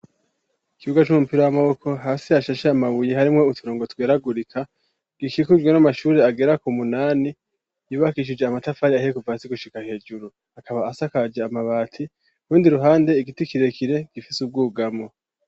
Ikibuga c'umupira w'amaboko hasi hashashe amabuye harimwo uturongo tweragurika gikikujwe n'amashuri agera k'umunani yubakishije amatafari ahiye kuva hasi gushika hejuru akaba asakaje amabati urundi ruhande igiti kirekire gifise ubwugamo.